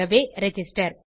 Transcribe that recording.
ஆகவே ரிஜிஸ்டர்